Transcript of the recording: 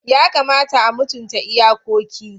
Yakamata a mutunta iyakoki.